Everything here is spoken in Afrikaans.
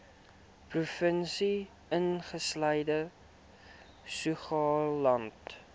provinsie insluitende saoglande